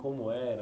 Como era?